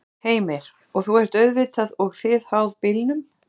Heimir: Og þú ert auðvitað og þið háð bílnum?